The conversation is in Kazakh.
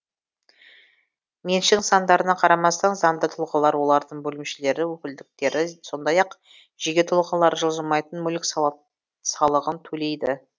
меншік нысандарына қарамастан заңды тұлғалар олардың бөлімшелері өкілдіктері сондай ақ жеке тұлғалар жылжымайтын мүлік салығын төлейді